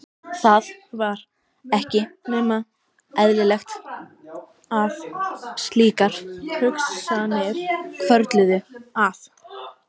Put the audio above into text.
Það var ekki nema eðlilegt að slíkar hugsanir hvörfluðu að